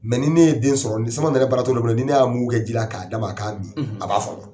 AMaiɔs ni ne ye den sɔrɔ ni samama nɛrɛ baratɔgɔ dɔ ni ne y'a mungu kɛ ji la k'a d'a ma n'a min a b'a fɔnɔ